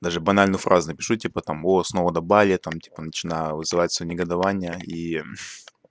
даже банально фразы напишу тебе потом была основана более там типа начинаю вызывается негодования и